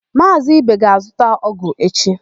Maazị Ibe ga-azụta ọ́gụ̀ echi.